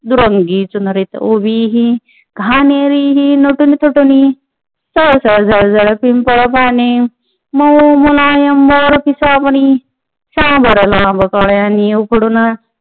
दुरंगी चुजरीत उभी ही घाणेरी ही नटुनी थटुनी सळसळ झळझळ पिंपळ पाने मऊ मुलायम मोरपिसापरी सांबर लाल कळ्यांनी लखडून